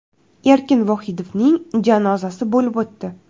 Erkin Vohidovning janozasi bo‘lib o‘tdi.